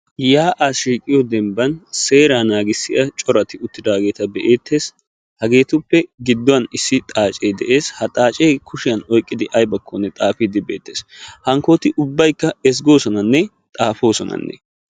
Yaa'a shiiqqiyo dembban seera naaagisiya corati uttidaageeta be'eettes hageetuppe gudduwan issi xaacee de'es ha xaacee kushiyan oyiqqidi ayibbakkonne xaafiiddi beettes hankkooti ubbayikka ezggosonanne xaafosonna.